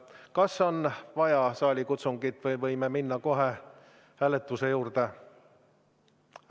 Kas on vaja saalikutsungit või võime minna kohe hääletuse juurde?